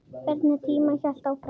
Hvernig tíminn hélt áfram.